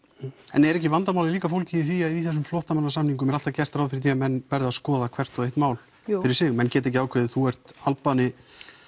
en er ekki vandamálið líka fólgið í því að í þessum flóttamannasamningum er alltaf gert ráð fyrir því að menn beri að skoða hvert og eitt mál fyrir sig menn geta ekki ákveðið þú ert Albani